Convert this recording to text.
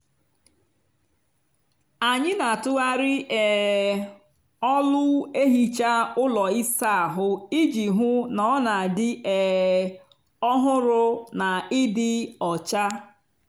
anyị n'atughari um ọlụ ehicha ụlọ ịsa ahụ iji hụ na ọ n'adị um ọhụrụ na ịdị ọcha.